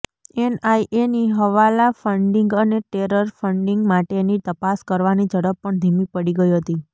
એનઆઈએની હવાલા ફંડિંગ અને terror funding માટેની તપાસ કરવાની ઝડપ પણ ધીમી પડી ગઈ હતી